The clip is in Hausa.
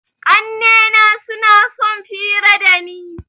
Ƙannena suna sun fira dani.